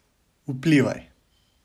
Vplivaj.